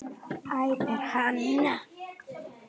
æpir hann.